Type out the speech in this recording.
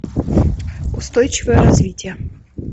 устойчивое развитие